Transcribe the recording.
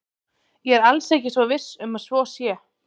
Ég er alls ekki viss um að svo sé.